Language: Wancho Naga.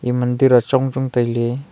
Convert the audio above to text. mandir ah chong chong taile.